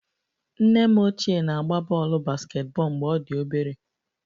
Nne m ochie na-agba bọọlụ basketball mgbe ọ dị obere